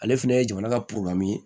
Ale fɛnɛ ye jamana ka ye